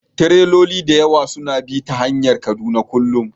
Tireloli da yawa suna bi ta hanyar Kaduna kullum